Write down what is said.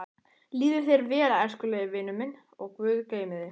Líði þér vel, elskulegi vinurinn minn og guð geymi þig.